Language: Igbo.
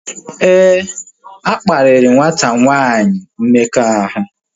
Éè, akparia nwata nwanyi mmekọahụ